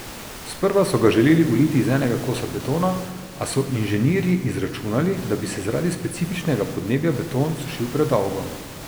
Sprva so ga želeli uliti iz enega kosa betona, a so inženirji izračunali, da bi se zaradi specifičnega podnebja beton sušil predolgo.